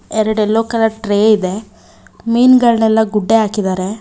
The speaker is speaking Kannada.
ಎರಡ ಎಲ್ಲೊ ಕಲರ್ ಟ್ರೇ ಇದೆ ಮೀನಗಳನೆಲ್ಲಾ ಗುಡ್ಡೆ ಹಾಕಿದಾರೆ.